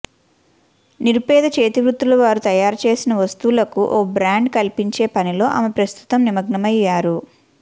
నిరుపేద చేతివృత్తులువారు తయారుచేసిన వస్తువులకు ఓ బ్రాండ్ కల్పించే పనిలో ఆమె ప్రస్తుతం నిమగ్మమయ్యారు